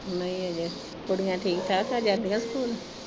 ਨਹੀਂ ਅਜੇ, ਕੁੜੀਆਂ ਠੀਕ-ਠਾਕ ਆ ਜਾਂਦੀਆਂ ਸਕੂਲ।